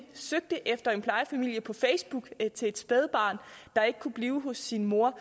søgte efter en plejefamilie på facebook til et spædbarn der ikke kunne blive hos sin mor